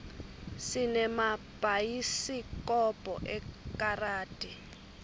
sinemabhayisikobho ekaradi